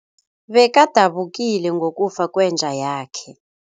Bekadabukile ngokufa kwenja yakhe.